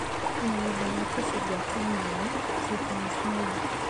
Mũgũnda wa tũcungwa twa maĩ (cucumis melo)